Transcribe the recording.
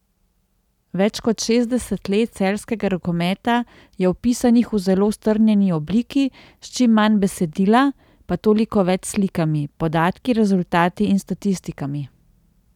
Več kot šestdeset let celjskega rokometa je opisanih v zelo strnjeni obliki, s čim manj besedila, pa toliko več slikami, podatki, rezultati in statistikami.